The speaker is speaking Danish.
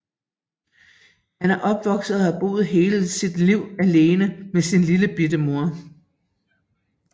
Han er opvokset og har boet hele sit liv alene med sin lillebitte mor